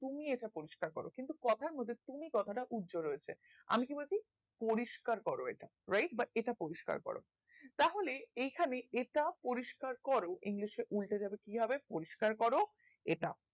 তুমি এটা পরিষ্কার করো কিন্তু কথার মধ্যে তুমি কথা টা উজ্ঝ রয়েছে আমি কি বলছি পরিষ্কার করো এটা right বা এটা পরিষ্কার করো তাহলে এইখানে এটাও পরিষ্কার করো english উল্টে যাবে কি হবে পরিষ্কার করো এটা